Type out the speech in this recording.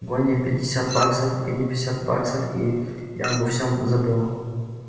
гони пятьдесят баксов гони пятьдесят баксов и я обо всём забыла